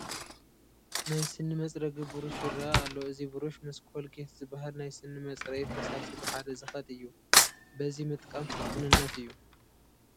ናይ ስኒ መፅረጊ ብሩሽ ይርአ ኣሎ፡፡ እዚ ብሩሽ ምስ ኮልጌት ዝበሃል ናይ ስኒ መፅረዪ ፈሳሲ ብሓደ ዝኸድ እዩ፡፡ በዚ ምጥቃም ስልጡንነት እዩ፡፡